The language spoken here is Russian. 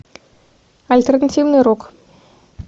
альтернативный рок